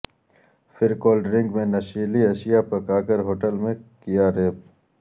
پھر کولڈرنک میں نشیلی اشیا پکاکر ہوٹل میں کیا ریپ